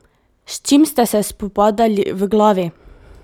S čim ste se spopadali v glavi?